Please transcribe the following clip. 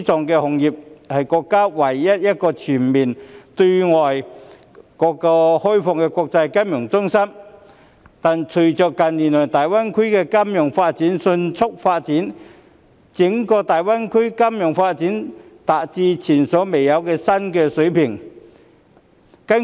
香港是國家唯一一個全面對外開放的國際金融中心，但整個大灣區的金融業隨着近年的迅速發展而達至前所未有的新水平。